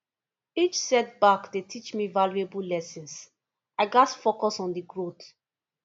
each setback dey teach me valuable lessons i gats focus on the growth